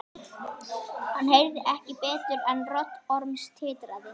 Hann heyrði ekki betur en rödd Orms titraði.